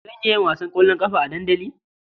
Zan iya yin wasan ƙwallon ƙafa a dandali?